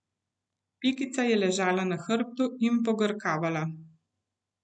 Pikica je ležala na hrbtu in pogrkavala.